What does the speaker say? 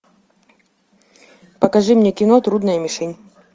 покажи мне кино трудная мишень